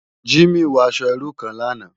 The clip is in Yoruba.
Jimi wò aṣò irú kán làná